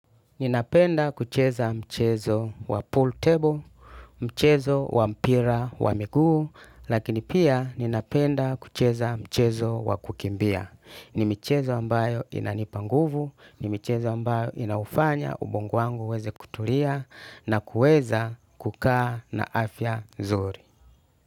Ninapenda kucheza mchezo wa pool table, mchezo wa mpira wa miguu, lakini pia ninapenda kucheza mchezo wa kukimbia. Ni michezo ambao inanipa nguvu, ni michezo ambayo inafanya ubongo wangu uweze kutulia na kuweza kukaa na afya nzuri.